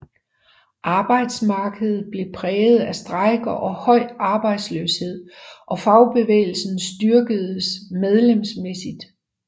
Arbejdsmarkedet blev præget af strejker og høj arbejdsløshed og fagbevægelsen styrkedes medlemsmæssigt